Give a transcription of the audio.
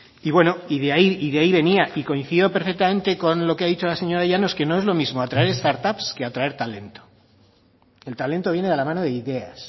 y bueno de ahí venía y coincido perfectamente con lo que ha dicho la señora llanos atraer start up que atraer talento el talento viene de la mano de ideas